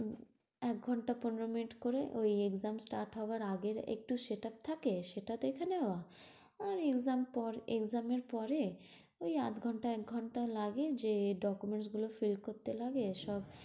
এক ঘন্টা পনেরো মিনিট করে ওই exam start হবার আগে একটু setup থাকে। সেটা দেখে নেওয়া, আর exam পর exam পরে ওই আধ ঘন্টা এক ঘন্টা লাগে যে document গুলো fill করতে লাগে সব,